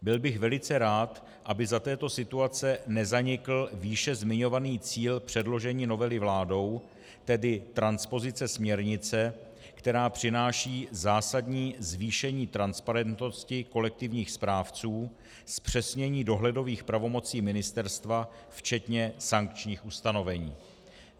Byl bych velice rád, aby za této situace nezanikl výše zmiňovaný cíl předložení novely vládou, tedy transpozice směrnice, která přináší zásadní zvýšení transparentnosti kolektivních správců, zpřesnění dohledových pravomocí ministerstva včetně sankčních ustanovení.